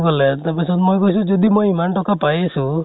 কʼলে । তাৰপিছত মই কৈছো যদি মই ইমান টকা পাই আছো